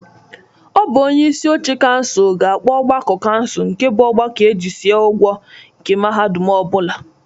Ọ bụ onyeisi oche kansụl ga-akpọ ọgbakọ kansụl nke bụ ọgbakọ e jisia ọgwọ nke mahadum ọ bụla.